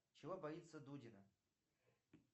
чего боится дудина